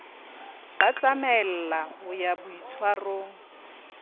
ba tsamaella ho ya boitshwarong